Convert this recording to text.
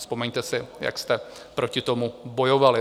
Vzpomeňte si, jak jste proti tomu bojovali.